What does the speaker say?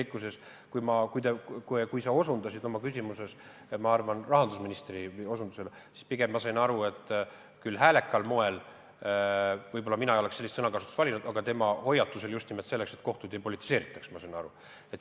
Sa küllap osutasid oma küsimuses rahandusministri sõnadele, millest mina pigem sain aru nii, et see oli küll esitatud häälekal moel ja mina ei oleks sellist sõnakasutust valinud, aga tema hoiatus oli just nimelt selleks, et kohtuid ei politiseeritaks.